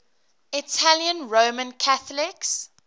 italian roman catholics